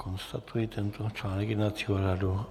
Konstatuji tento článek jednacího řádu.